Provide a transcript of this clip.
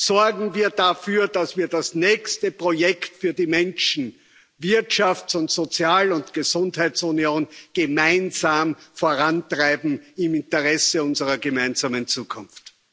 Sorgen wir dafür, dass wir das nächste Projekt für die Menschen Wirtschafts Sozial und Gesundheitsunion gemeinsam vorantreiben im Interesse unserer gemeinsamen Zukunft.